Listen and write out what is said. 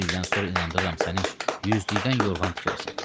Bir ildən sonra inandırıram səni yüzlükdən yorğan tikərsən.